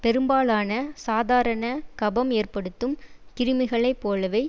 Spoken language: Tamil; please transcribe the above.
பெரும்பாலான சாதாரண கபம் ஏற்படுத்தும் கிருமிகளை போலவே